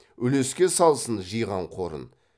үлеске салсын жиған қорын